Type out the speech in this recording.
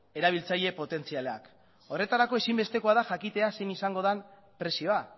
erabiltzaile potentzialak horretarako ezinbestekoa da jakitea zein izango den prezioa